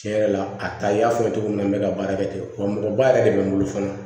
Tiɲɛ yɛrɛ la a ta y'a fɔ cogo min na n bɛ ka baara kɛ ten wa mɔgɔba yɛrɛ de bɛ n bolo fana